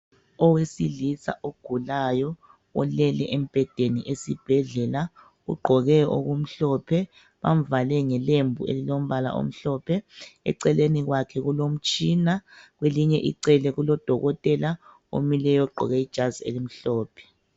Owesilisa ogulayo ulele embhedeni esibhedlela ugqoke okumhlophe bavale ngelembu elilombala omhlophe eceleni kwakhe kulomtshina kwelinye icele kulodokotela omileyo ogqoke ijazi elimhlophe.